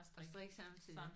Og strikke samtidig